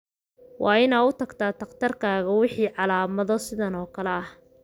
Waa inaad u tagtaa dhakhtarkaaga wixii calaamado sidan oo kale ah.